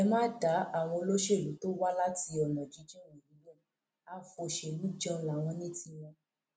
ẹ má dá àwọn olóṣèlú tó wá láti ọnà jínjìn wọnyí lóhun àfọṣẹlùjẹun láwọn ní tiwọn